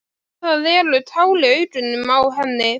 Að það eru tár í augunum á henni.